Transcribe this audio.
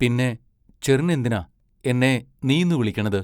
പിന്നെ ചെറ്നെന്തിനാ എന്നെ നീന്നു വിളിക്കണത്?